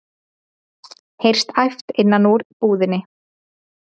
heyrist æpt innan úr búðinni.